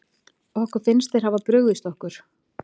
Okkur finnst sem þeir hafi brugðist okkur illa.